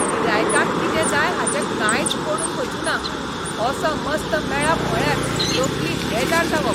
गिरायकांक कितें जाय हाचें कांयच पडून वचूना असो मस्त मेळप म्हळ्यार तकली बेजार जावप.